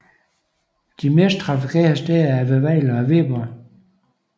De mest trafikerede steder er ved Vejle og Viborg